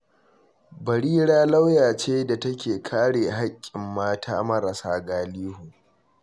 Barira lauya ce da take kare haƙƙin mata marasa galihu.